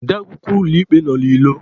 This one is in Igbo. Ode akwukwọ ụlọ ikpe nọ n'ilo.